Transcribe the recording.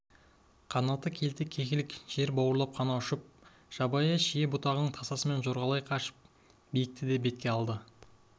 қанаты келте кекілік жер бауырлап қана ұшып жабайы шие бұтасының тасасымен жорғалай қашып да биікті бетке алады